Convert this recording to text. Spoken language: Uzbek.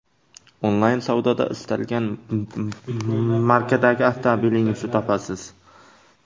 Onlayn savdoda istalgan markadagi avtomobilingizni topasiz.